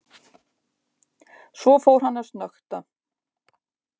Svo fór hann að snökta.